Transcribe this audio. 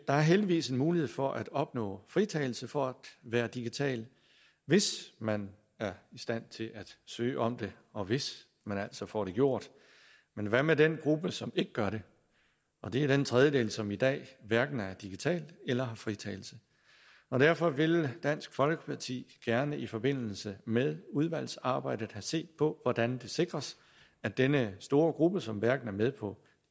er heldigvis en mulighed for at opnå fritagelse for at være digital hvis man er i stand til at søge om det og hvis man altså får det gjort men hvad med den gruppe som ikke gør det og det er den tredjedel som i dag hverken er digital eller har fritagelse derfor vil dansk folkeparti gerne i forbindelse med udvalgsarbejdet have set på hvordan det sikres at denne store gruppe som hverken er med på